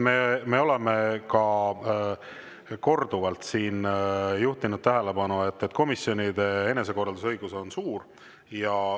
Me oleme korduvalt siin juhtinud tähelepanu, et komisjonide enesekorraldusõigus on suur.